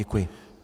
Děkuji.